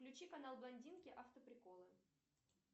включи канал блондинки автоприколы